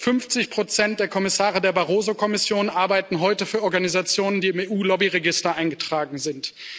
50 der Kommissare der Barroso Kommission arbeiten heute für Organisationen, die im EU Lobbyregister eingetragen sind.